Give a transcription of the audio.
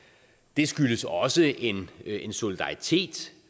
det skyldes også en en solidaritet